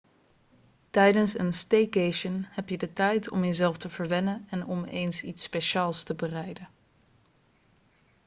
tijdens een staycation heb je de tijd om jezelf te verwennen en om eens iets speciaals te bereiden